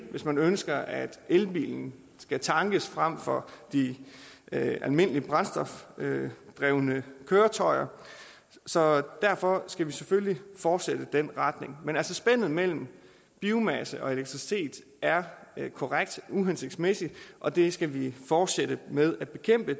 hvis man ønsker at elbilen skal tankes fremfor de almindelige brændstofdrevne køretøjer så derfor skal vi selvfølgelig fortsætte i den retning men spændet mellem biomasse og elektricitet er korrekt uhensigtsmæssigt og det skal vi fortsætte med at bekæmpe